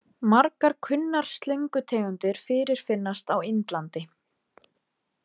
Margar kunnar slöngutegundir fyrirfinnast á Indlandi.